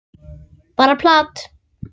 Bara plat.